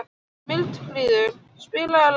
Mildríður, spilaðu lag.